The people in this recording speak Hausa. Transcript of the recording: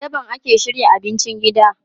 A daban ake shirya abincin gida.